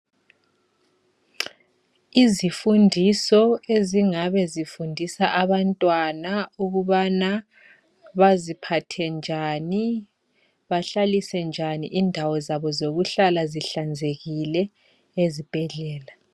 Izifundiso ezingabe sifundisa abantwana ukubana baziphathe njani . Bahlalise njani indawo zabo zokuhlala zihlanzekile ezibhedlela.